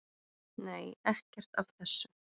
Nei, ekkert af þessu.